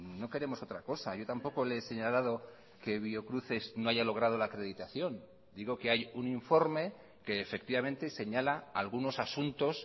no queremos otra cosa yo tampoco le he señalado que biocruces no haya logrado la acreditación digo que hay un informe que efectivamente señala algunos asuntos